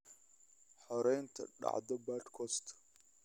hore nyt dhacdo podcast